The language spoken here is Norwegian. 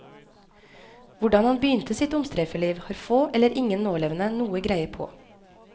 Hvordan han begynte sitt omstreiferliv, har få eller ingen nålevende noe greie på.